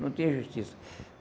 Não tinha justiça.